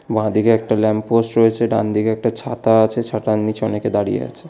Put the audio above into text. বাঁদিকে একটা ল্যাম্পপোস্ট রয়েছে ডানদিকে একটা ছাতা আছে ছাতার নীচে অনেকে দাঁড়িয়ে আছে।